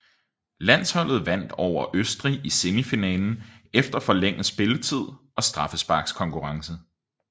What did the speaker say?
Landsholdet vandt over Østrig i semifinalen efter forlænget spilletid og straffesparkskonkurrence